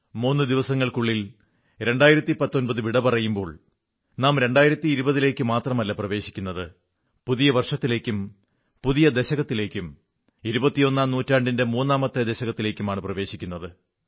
മൂന്ന് ദിവസങ്ങൾക്കുള്ളിൽ 2019 വിട പറയുമ്പോൾ നാം 2020 ലേക്ക് മാത്രമല്ല പ്രവേശിക്കുന്നത് പുതിയ വർഷത്തിലേക്കും പുതിയ ദശകത്തിേലക്കും 21ാം നൂറ്റാണ്ടിന്റെ മൂന്നാമത്തെ ദശകത്തിലേക്കുമാണ് പ്രവേശിക്കുന്നത്